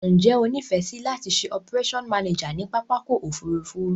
Njé o nífèsì láti se operation manager ni pápákò òfurufú